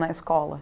Na escola?